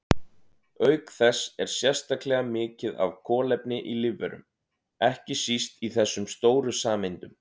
Auk þess er sérstaklega mikið af kolefni í lífverum, ekki síst í þessum stóru sameindum.